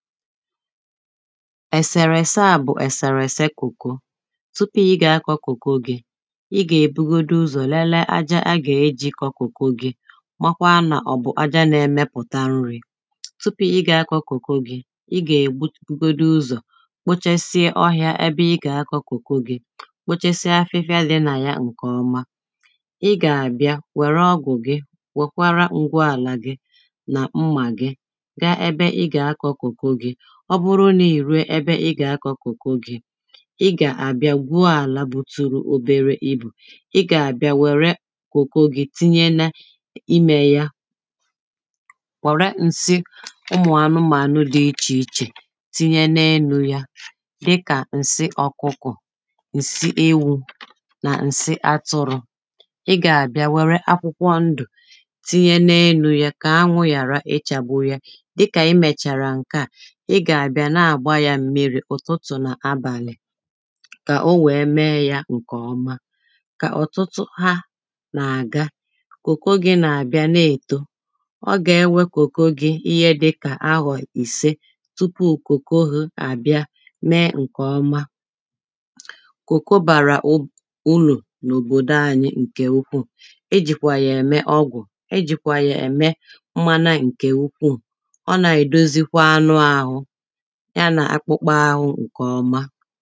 ẹ̀sẹ̀rẹ̀sẹ à bụ̀ ẹ̀sẹ̀rẹ̀sẹ kòko tụpụ ị gà a kọ kòko gị̄ ị gà bụgodụ ụzọ̀ lẹlẹ aja a gà ē jị kọ kòko gị̄ makwa nà ọ̀ bụ̀ aja nā-ẹ̄mẹ̄pụ̀ta nrī tụpụ ị gà a kọ kòko gị̄ ị gà bụgodụ ụzọ̀ kpochasịa ọhịà ẹbẹ ɪ gà a kọ kòko gị̄ kpochasịa afịfia dị̄ nà ya ṅkẹ̀ ọma ị gà à bia wẹ̀rẹ ọgwụ̀ gị wẹ̀kwara ṅgwu àlà gị nà ṁmà gị ga ẹbẹ ɪ gà a kọ kòko gị̄ ọbụrụ nà-ịrue ẹbẹ ị gà a kọ kòko gị̄ ị gà à bia gbuo àlā bụtụrụ ọbẹrẹ ịbụ̀ ị gà à bia wẹ̀rẹ kòko gị̄ tịnyẹ na ịmɛ̀ jà wẹ̀rẹ ṅsị ụmụ̀ anụmànụ dị̄ ị́chè ị́chè tịnyẹ n'enū yā dị kạ̀ ṅsị ọ̀kụkọ̀ ṅsị ewụ̄ nà ṅsị atụrụ̄ ị gà à bia wẹ̀rẹ tịnyẹ n'enū yā kà aṅwụ ghàra ị chagbụ yā dị kà ị mẹ̀chàrà ṅkà ị gà à bia naà gba yā mmirī kà ọ wẹ̀ẹ mẹ yā ṅkẹ̀ ọma kà òtụtụ ha nà à ga kòkó gị̄ nà bia na-èto ọ gà ẹ wẹ̄ kòko gị̄ ịhẹ dị̄ kà aghò ị̄se tụpụ kòko ghụ̄ à bia mẹ ṅkẹ̀ ọma kòko bàrà ụlụ̀ nà-òbòdo ānyị̄ ṅkẹ̀ ụkwu e jị̀kwà yà ẹ̀ mẹ́ ọ́gwụ̀ e jị̀kwà yà ẹ̀ mẹ́ mmana ṅkè ụkwụ ọ nà è dozikwa anụ āhụ̄ ya nà akpụkpụ āhụ̄ ṅkẹ̀ ọma